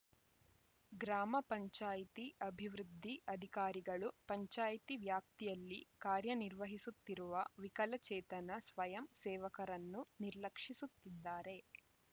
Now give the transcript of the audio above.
ಗ್ರಾಮ ಪಂಚಾಯ್ತಿ ಅಭಿವೃದ್ಧಿ ಅಧಿಕಾರಿಗಳು ಪಂಚಾಯ್ತಿ ವ್ಯಾಪ್ತಿಯಲ್ಲಿ ಕಾರ್ಯನಿರ್ವಹಿಸುತ್ತಿರುವ ವಿಕಲಚೇತನ ಸ್ವಯಂ ಸೇವಕರನ್ನು ನಿರ್ಲಕ್ಷಿಸುತ್ತಿದ್ದಾರೆ